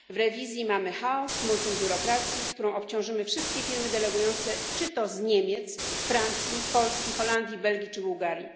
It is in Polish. W rewizji mamy chaos, multum biurokracji, którą obciążymy wszystkie firmy delegujące czy to z Niemiec, Francji, Polski, Holandii, Belgii czy Bułgarii.